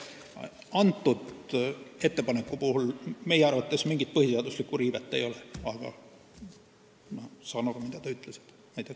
Kõnealuse ettepaneku puhul meie arvates mingit põhiseaduslikku riivet ei ole, aga ma saan aru, mida te ütlesite.